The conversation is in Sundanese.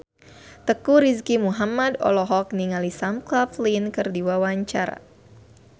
Teuku Rizky Muhammad olohok ningali Sam Claflin keur diwawancara